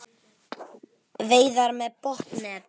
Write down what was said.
Veiðar með botnnet